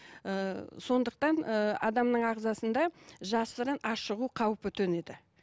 ііі сондықтан ііі адамның ағзасында жасырын ашығу қаупі төнеді